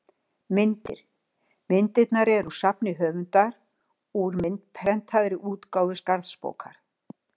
Myndir: Myndirnar eru úr safni höfundar, úr myndprentaðri útgáfu Skarðsbókar.